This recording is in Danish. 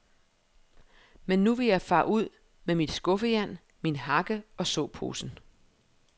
Men nu vil jeg fare ud med mit skuffejern, min hakke og såposen.